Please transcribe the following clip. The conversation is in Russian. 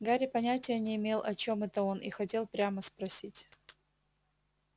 гарри понятия не имел о чем это он и хотел прямо спросить